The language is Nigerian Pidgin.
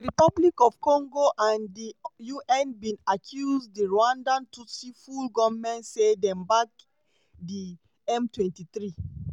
dr congo and di un bin accuse di rwanda tutsi full goment say dem back di m23.